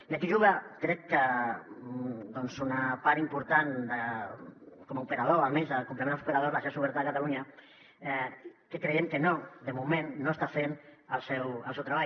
i aquí juga crec que una part important com a operador almenys de complement als operadors la xarxa oberta de catalunya que creiem que no de moment no està fent el seu treball